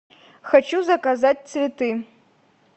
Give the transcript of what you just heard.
хочу заказать цветы